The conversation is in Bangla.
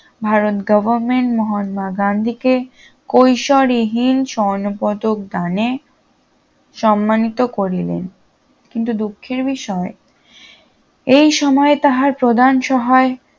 ভারত গভর্নমেন্ট মহাত্মা গান্ধীকে কৈশোরহীন স্বর্ণপদক দানে সন্মানিত করিলেন কিন্তু দুঃখের বিষয় এই সময় তাহার প্রধান সহায়